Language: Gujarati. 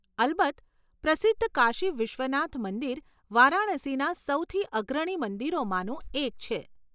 અલબત્ત. પ્રસિદ્ધ કાશી વિશ્વનાથ મંદિર વારાણસીના સૌથી અગ્રણી મંદિરોમાંનું એક છે.